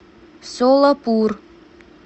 солапур